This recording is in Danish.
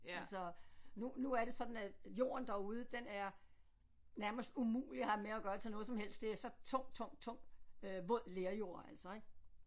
Men så nu nu er det sådan at jorden derude den er nærmest umulig at have med at gøre til noget som helst det er så tung tung tung øh våd lerjord altså ik